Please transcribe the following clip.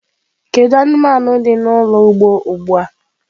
Kedu anụmanụ dị n'ụlọ ugbo ugbu a?